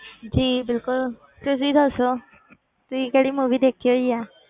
ਜੀ ਬਿਲਕੁੁਲ ਤੁਸੀਂ ਦੱਸੋ ਤੁਸੀਂ ਕਿਹੜੀ movie ਦੇਖੀ ਹੋਈ ਹੈ